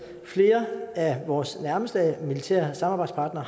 flere af vores nærmeste militære samarbejdspartnere